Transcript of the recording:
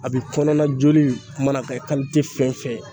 A bɛ kɔnɔna joli mana kɛ fɛn fɛn ye